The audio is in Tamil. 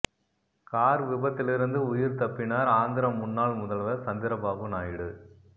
கார் விபத்திலிருந்து உயிர் தப்பினார் ஆந்திர முன்னாள் முதல்வர் சந்திரபாபு நாயுடு